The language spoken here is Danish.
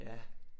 Ja